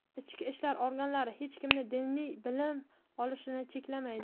Ichki ishlar organlari hech kimni diniy bilim olishini cheklamaydi.